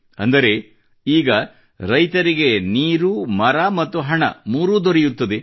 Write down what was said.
ಅಂದರೆ ಈಗ ರೈತನಿಗೆ ನೀರು ಮರ ಮತ್ತು ಹಣ ಮೂರೂ ದೊರೆಯುತ್ತದೆ